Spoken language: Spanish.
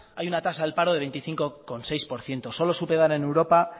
hay una tasa del paro del veinticinco seis por ciento solo superada en europa